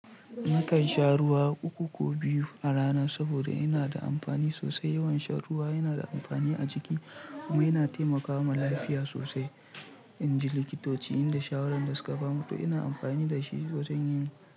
Nakan sha ruwa uku ko biyu a rana saboda yana da amfani sosai. Yawan shan ruwa yana da amfani a jiki kuma yana taimakawa lafiya sosai. In ji likitoci, inda shawaran da suka bamu to ina amfani da shi sosai.